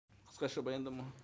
қысқаша баяндама